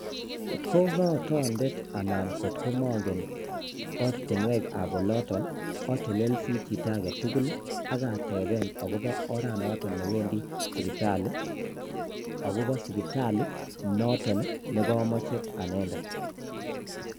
Kot ko kotondet anan kokot morgen ortinwekab oloton otelelsie chito agetugul ak ateben akobo oret noton newendi sipitalii, akobo sipitalii nekomoche anendet.